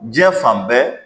Diɲɛ fan bɛɛ